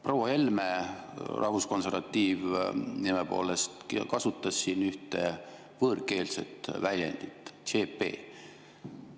Proua Helme, rahvuskonservatiiv nime poolest, kasutas siin ühte võõrkeelset väljendit: CP.